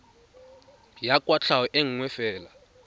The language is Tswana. ya kwatlhao e nngwe fela